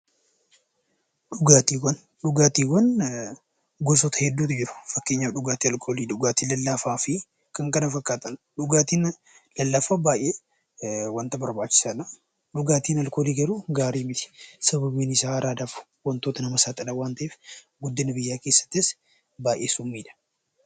Dhugaatiiwwan. Dhugaatiiwwan gosoota hedduutu jiru. Fakkeenyaaf dhugaatii alkoolii, dhugaatii lallaafaa fi kan kana fakkaataniidha. Dhugaatiin lallaafaa wanta barbaachisaadha. Dhugaatiin alkoolii garuu gaarii miti. Sababni isaa araadaaf wantoota nama saaxilan waan ta'eef; akkasumas guddina biyyaa keessatti summiidha.